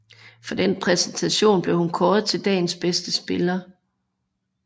For den præstation blev hun kåret til dagens bedste spiller